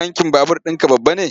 Tankin babur ɗinka babba ne?